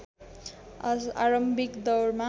आरम्भिक दौरमा